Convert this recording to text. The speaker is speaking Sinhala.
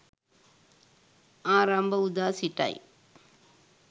ආරම්භ වූ දා සිටයි.